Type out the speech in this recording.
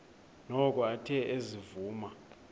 noko athe ezivuma